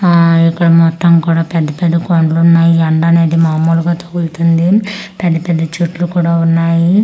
ఆ ఇక్కడ మొత్తం కూడా పెద్ద-పెద్ద కొండలు ఉన్నాయి ఎండానేది మాములుగా తగుల్తుంది పెద్ద-పెద్ద చెట్లు కూడా ఉన్నాయి.